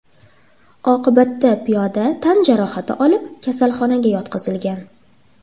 Oqibatda piyoda tan jarohati olib, kasalxonaga yotqizilgan.